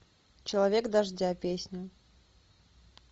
человек дождя песня